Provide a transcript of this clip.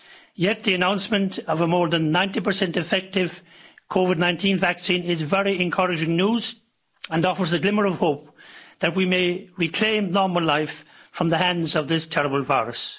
Yet the announcement of a more than 90 effective COVID-19 vaccine is very encouraging news and offers a glimmer of hope that we may reclaim normal lives from the hands of this terrible virus.